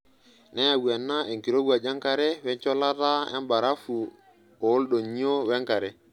Neyau ena enkirowuaj enkare wencholata embarafu ooldonyio wenkare.